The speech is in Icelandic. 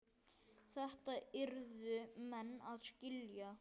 Þetta yrðu menn að skilja.